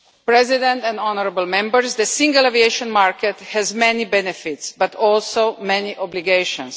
President and honourable Members, the single aviation market has many benefits, but also many obligations.